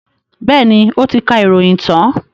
Bẹ́ẹ̀ni, ó ti ka ìròyìn tán.